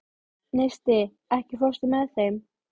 Neisti, ekki fórstu með þeim?